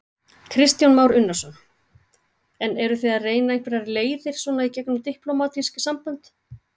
Kristján Már Unnarsson: En eruð þið að reyna einhverjar leiðir svona í gegnum diplómatísk sambönd?